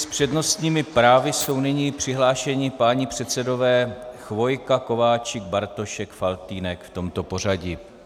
S přednostními právy jsou nyní přihlášeni páni předsedové Chvojka, Kováčik, Bartošek, Faltýnek, v tomto pořadí.